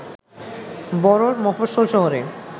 বড়ো মফস্বল শহরে